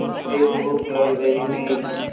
मुझे भूख लग रही थी